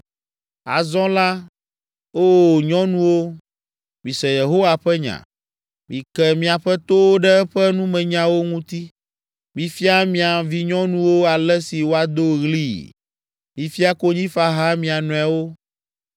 Azɔ la, Oo nyɔnuwo, mise Yehowa ƒe nya, mike miaƒe towo ɖe eƒe numenyawo ŋuti. Mifia mia vinyɔnuwo ale si woado ɣlii. Mifia konyifaha mia nɔewo